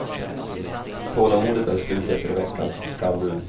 Tålamodet är slut efter veckans skambud.